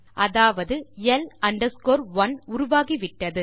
அதாவது L 1 உருவாகி விட்டது